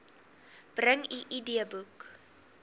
bring u idboek